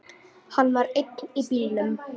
Hann var einn í bílnum.